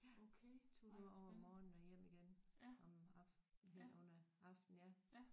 Ja tog derover om morgenen og hjem igen om aftenen hen under aften ja